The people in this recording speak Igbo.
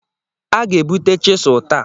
A ga-ebute chịselu taa.